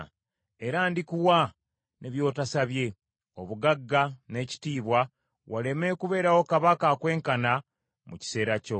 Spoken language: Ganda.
Era ndikuwa, ne by’otosabye: obugagga n’ekitiibwa waleme kubeerawo kabaka akwenkana mu kiseera kyo.